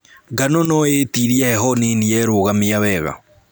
Ngano nũĩtirie heho nini yerũgamia wega.